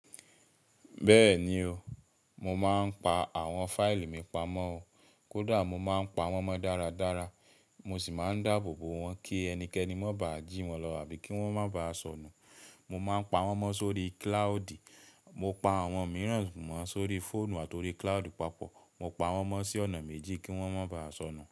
Bẹ́ẹ̀ni o, mo máa ń pa àwọn fáìlì mi pama o. Kódà mo máa ń pa wọ́n ma dáradára, mo sì máa ń dáàbò bo wọn kí ẹnikẹ́ni má bà jí wọn lọ àbí kí wọ́n má bà sọnù. Mo máa ń pa wọ́n ma sórí kíláodì. Mo pa àwọn mìíràn ma sórí fóònù àti orí kíláodì papọ̀. Mo pa wọ́n ma sí ọ̀nà méjì kí wọ́n má bá sọnù.